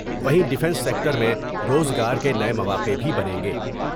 وہیں defence sector میں روزگار کے نئے مواقع بھی بنیں گے ۔